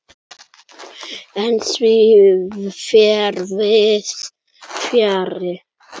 En því fer víðs fjarri.